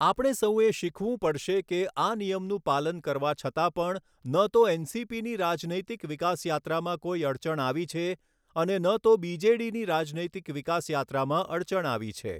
આપણે સૌએ શીખવું પડશે કે આ નિયમનું પાલન કરવા છતાં પણ ન તો એનસીપીની રાજનૈતિક વિકાસ યાત્રામાં કોઈ અડચણ આવી છે અને ન તો બીજેડીની રાજનૈતિક વિકાસ યાત્રામાં અડચણ આવી છે.